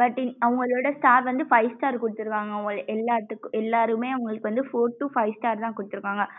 but அவுங்களோட star வந்து five star குடுத்துருவாங்க அவுங்கலே எல்லாத்துக்கும் எல்லாருமே அவங்களுக்கு வந்து four to five star தான் குடுத்துருக்காங்க.